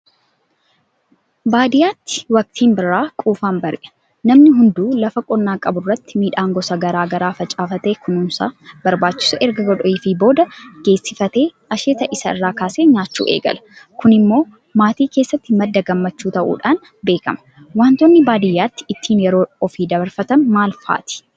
Baadiyyaatti waktiin birraa quufaan bari'a. Namni hunduu lafa qonnaa qaburratti midhaan gosa garaa garaa facaafatee kunuunsa barbaachisu erga godheefi booda geessifatee asheeta isaarraa kaasee nyaachuu eegala. Kunimmoo maatii keessatti madda gammachuu ta'uudhaan beekama. Waantonni baadiyyaatti ittiin yeroo ofii dabarfatan maal fa'aati?